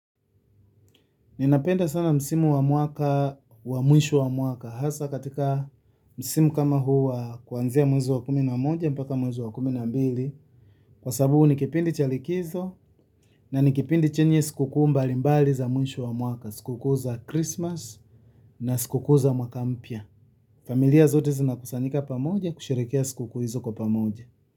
Ninapenda sana msimu wa mwaka wa mwisho wa mwaka hasa katika msimu kama huu wa kuanzia mwezi wa kumi na moja mpaka mwezi wa kumi na mbili. Kwa sababu ni kipindi cha likizo na ni kipindi chenye sikukuu mbali mbali za mwisho wa mwaka. Sikukuu za Christmas na sikukuu za mwaka mpya. Familia zote zinakusanyika pamoja kusherehekea sikukuu hizo kwa pamoja.